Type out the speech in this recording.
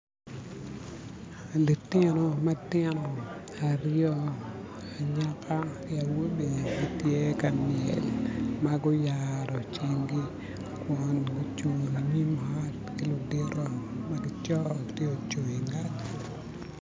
Litino matino aryo anyaka ki wobe gitye ka myel ma guyaro cingi kun gucung i nyim ot ki lutido ma gico tye oucung i ngetgi